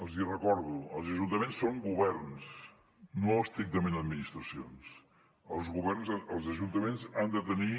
els recordo els ajuntaments són governs no estrictament administracions els ajuntaments han de tenir